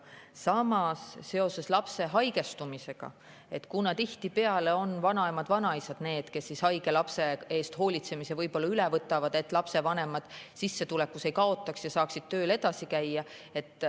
Samas, kui laps haigestub, siis tihtipeale on vanaemad-vanaisad need, kes haige lapse eest hoolitsemise üle võtavad, et lapsevanemad sissetulekus ei kaotaks ja saaksid tööl edasi käia.